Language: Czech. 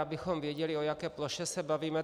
Abychom věděli, o jaké ploše se bavíme.